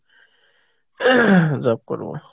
job করবো।